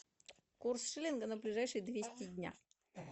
курс шиллинга на ближайшие двести дня